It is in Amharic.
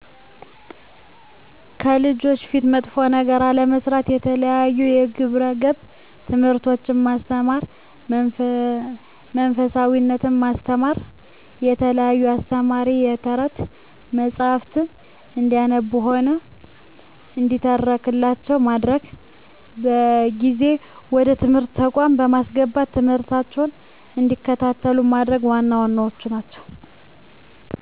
ከልጆች ፊት መጥፎ ነገር አለመስራት፣ የተለያዩ የግብረ ገብ ትምህርቶችን ማስተማር፣ መንፈሳዊነትን ማስተማ፣ የተለያዩ አስተማሪ የተረት መፀሀፍትን እንዲያነቡም ሆነ እንዲተረክላቸው ማድረግ፣ በጊዜ ወደ ትምህርት ተቋማት በማስገባት ትምህርት እንዲከታተሉ ማድረግ ዋና ዋናዎቹ ናቸው።